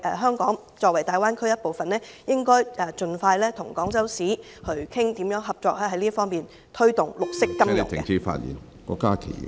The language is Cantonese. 香港作為大灣區一部分，應該盡快與廣州市討論這方面如何合作，推動綠色金融......